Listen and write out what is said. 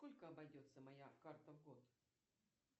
сколько обойдется моя карта в год